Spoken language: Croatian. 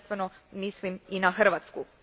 Tu prvenstveno mislim i na Hrvatsku.